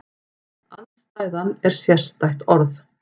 Andstæðan er sérstætt orð.